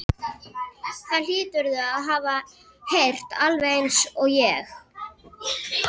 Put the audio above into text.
Það hlýturðu að hafa heyrt alveg einsog ég.